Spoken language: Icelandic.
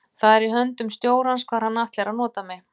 Það er í höndum stjórans hvar hann ætlar að nota mig.